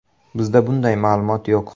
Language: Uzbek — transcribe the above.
Bizda bunday ma’lumot yo‘q.